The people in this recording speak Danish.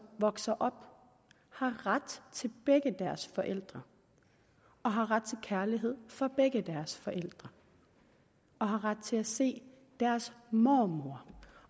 vokser op har ret til begge deres forældre har ret til kærlighed fra begge deres forældre har ret til at se deres mormor